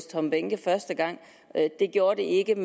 tom behnke første gang det gjorde det ikke